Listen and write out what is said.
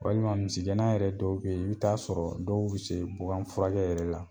Walima misiggɛnna yɛrɛ dɔw be ye i bɛ taa'a sɔrɔ dɔw bi se bugan furakɛ yɛrɛ la.